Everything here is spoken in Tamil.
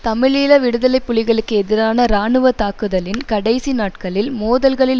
தமிழீழ விடுதலை புலிகளுக்கு எதிரான இராணுவ தாக்குதலின் கடைசி நாட்களில் மோதல்களில்